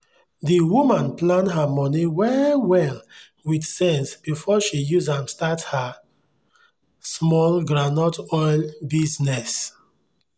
the woman plan her money well well with sense before she use am start her small groundnut oil bizness.